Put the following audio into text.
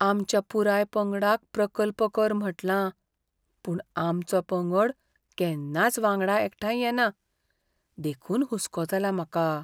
आमच्या पुराय पंगडाक प्रकल्प कर म्हटलां, पूण आमचो पंगड केन्नाच वांगडा एकठांय येना, देखून हुस्को जाला म्हाका.